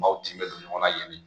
Maaw tin bɛ don ɲɔgɔn na ye